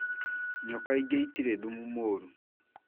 Nyoka ingĩ itirĩ thumu mũru